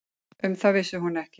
Um það vissi hún ekki.